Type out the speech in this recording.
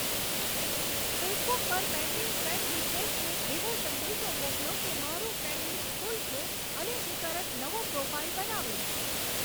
Facebook પર pending friend રીક્વેસ્ટસને એવો સંદેશો મોકલો કે મારું ફ્રેંડ લિસ્ટ ફૂલ છે અને હું તરત નવો પ્રોફાઈલ બનાવીશ